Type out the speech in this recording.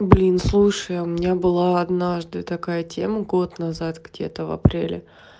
блин слушай а у меня была однажды такая тема год назад где-то в апреле